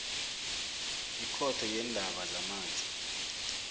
ikhotho yeendaba zamanzi